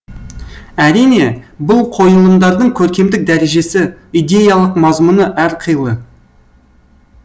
әрине бұл қойылымдардың көркемдік дәрежесі идеялық мазмұны әр қилы